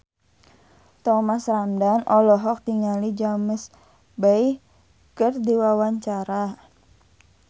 Thomas Ramdhan olohok ningali James Bay keur diwawancara